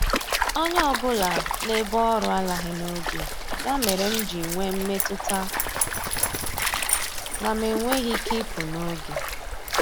Onye ọbụla n'ebe ọrụ alaghị n'oge, ya mere m ji nwee mmetụta na m enweghị ike ịpụ n'oge.